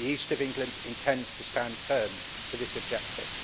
The East of England intends to stand firm to this objective.